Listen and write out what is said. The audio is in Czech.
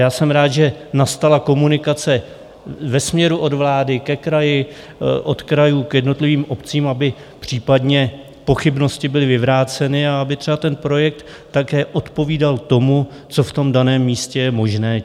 Já jsem rád, že nastala komunikace ve směru od vlády ke kraji, od krajů k jednotlivým obcím, aby případné pochybnosti byly vyvráceny a aby třeba ten projekt také odpovídal tomu, co v tom daném místě je možné.